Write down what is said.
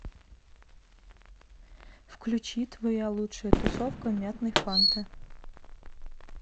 включи твоя лучшая тусовка мятной фанты